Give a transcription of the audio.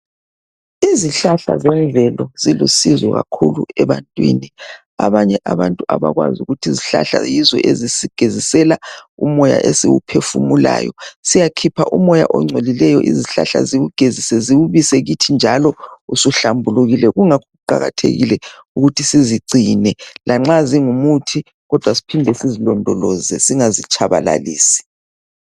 Izihlahla zemvelo zilusizo kakhulu ebantwini. Abanye abantu umoya esiwuphefumulayo, siyakhipha umoya ongcolileyo izihlahla ziwugezise ziwubise kithi njalo usuhlambulukile kuqakathekile ukuthi sizigcine lanxa zingumuthi kodwa siphinde sizilondoloze singazitshabalalisi.